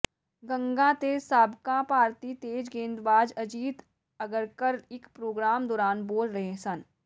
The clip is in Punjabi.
ਗੰਗਾ ਤੇ ਸਾਬਕਾ ਭਾਰਤੀ ਤੇਜ਼ ਗੇਂਦਬਾਜ਼ ਅਜੀਤ ਅਗਰਕਰ ਇਕ ਪ੍ਰੋਗਰਾਮ ਦੌਰਾਨ ਬੋਲ ਰਹੇ ਸਨ